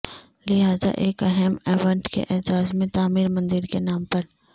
لہذا ایک اہم ایونٹ کے اعزاز میں تعمیر مندر کے نام پر